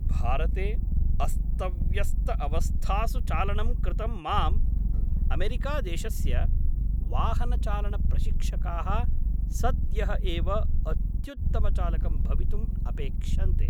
भारते अस्तव्यस्तअवस्थासु चालनं कृतं माम् अमेरिकादेशस्य वाहनचालनप्रशिक्षकाः सद्यः एव अत्युत्तमचालकं भवितुम् अपेक्षन्ते।